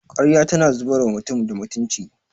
Karya tana zubar wa mutum da mutunci